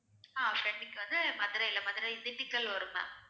ஆஹ் friend க்கு வந்து மதுரையில மதுரை திண்டுக்கல் வரும் ma'am